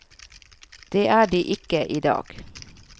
Det er de ikke i dag.